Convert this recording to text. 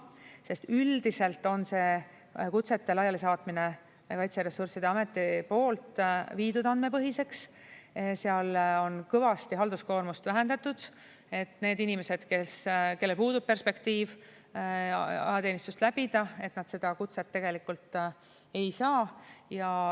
Sest üldiselt on see kutsete laialisaatmine Kaitseressursside Ameti poolt viidud andmepõhiseks, seal on kõvasti halduskoormust vähendatud, nii et need inimesed, kellel puudub perspektiiv ajateenistust läbida, seda kutset tegelikult ei saa.